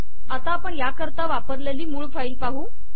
आता आपण याकरता वापरलेली मूळ फाईल पाहू